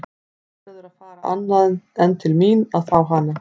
Þú verður að fara annað en til mín að fá hana.